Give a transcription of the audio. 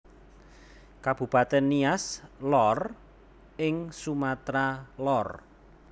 Kabupatèn Nias Lor ing Sumatra Lor